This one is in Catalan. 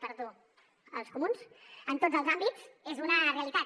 perdó els comuns en tots els àmbits és una realitat